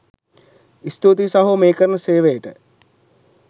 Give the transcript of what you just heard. ස්තූතියිසහෝ මේ කරන සේවයට